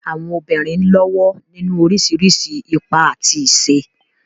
Àwọn obìnrin ń lọ́wọ́ nínú oríṣiríṣi ipa àti iṣẹ́.